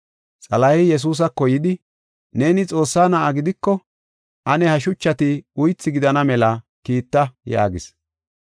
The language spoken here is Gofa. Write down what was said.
Xalahey Yesuusako yidi “Neeni Xoossaa na7a gidiko, ane ha shuchati uythi gidana mela kiitta” yaagis.